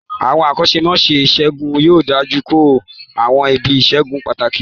Àwọn akọ́ṣẹ́mọṣẹ́ ìṣègùn yóò dojú kọ àwọn ibi ìṣègùn pàtàkì